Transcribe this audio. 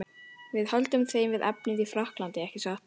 Við höldum þeim við efnið í Frakklandi, ekki satt?